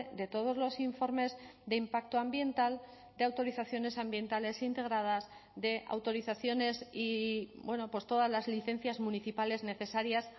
de todos los informes de impacto ambiental de autorizaciones ambientales integradas de autorizaciones y todas las licencias municipales necesarias